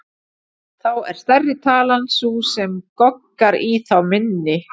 Þá er stærri talan sú sem goggar í þá minni.